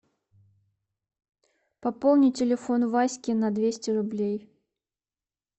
пополнить телефон васьки на двести рублей